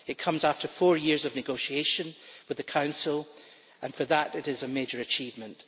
It comes after four years of negotiation with the Council, and for that it is a major achievement.